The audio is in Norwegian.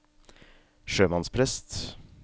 sjømannsprest